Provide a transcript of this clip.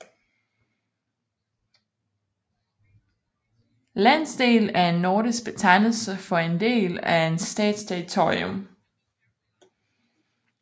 Landsdel er en nordisk betegnelse for en del af en stats territorium